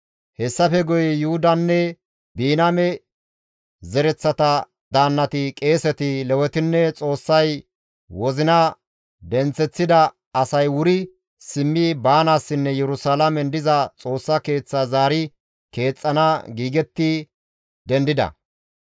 Hessafe guye Yuhudanne Biniyaame zereththata daannati, qeeseti, Lewetinne Xoossay wozina denththeththida asay wuri simmi baanaassinne Yerusalaamen diza Xoossa Keeththa zaari keexxana giigetti dendida.